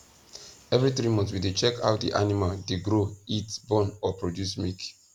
every 3months we dey check how di animal dey grow eat born or produce milk